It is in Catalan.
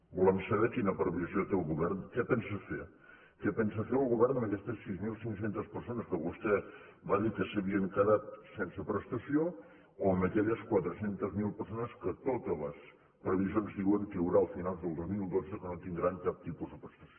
volem saber quina previsió té el govern què pensa fer què pensa fer el govern amb aquestes sis mil cinc cents persones que vostè va dir que s’havien quedat sense prestació o amb aquelles quatre cents miler persones que totes les previsions diuen que hi haurà a finals del dos mil dotze que no tindran cap tipus de prestació